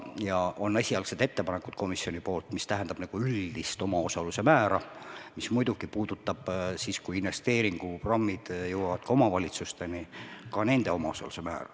Ja on esialgsed ettepanekud komisjonilt, mis tähendab üldist omaosaluse määra, mis muidugi puudutab siis, kui investeeringuprogrammid jõuavad omavalitsusteni, ka nende omaosaluse määra.